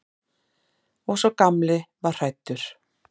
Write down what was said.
Og sá gamli var hræddur.